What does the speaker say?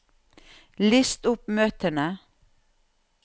list opp møtene